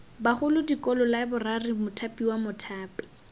bagolo dikolo laeborari mothapiwa mothapi